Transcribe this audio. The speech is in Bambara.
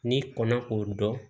N'i kɔnna o dɔn